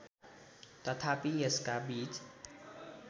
तथापि यसका बीज